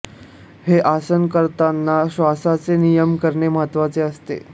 हे आसन करतांना श्वासाचे नियमन करणे महत्त्वाचे असते